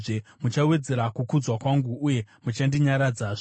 Muchawedzera kukudzwa kwangu, uye muchandinyaradzazve.